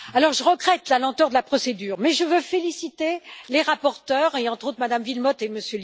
Je regrette la lenteur de la procédure, mais je veux féliciter les rapporteurs et, entre autres, Mme Wilmott et M.